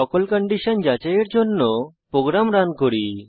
সকল কন্ডিশন যাচাই করার জন্য আমি প্রোগ্রাম রান করি